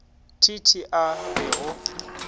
t t a re go